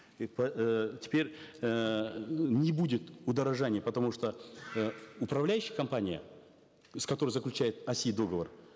теперь эээ не будет удорожания потому что э управляющая компания с которой заключает оси договор